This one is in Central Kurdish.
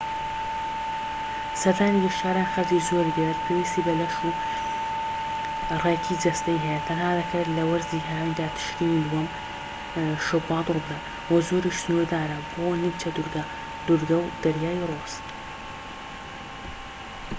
سەردانی گەشتیاران خەرجی زۆری دەوێت پێویستی بە لەش ڕێکی جەستەیی هەیە تەنها دەکرێت لە وەرزی هاویندا تشرینی دووەم-شوبات ڕووبدات و زۆریش سنووردارە بۆ نیمچە دوورگە دوورگە و دەریای ڕۆس